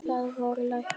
Það voru læknar.